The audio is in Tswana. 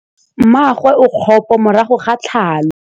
Mmagwe o kgapô morago ga tlhalô.